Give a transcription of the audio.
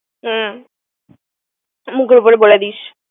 হুম মুখের উপর বলে দিস।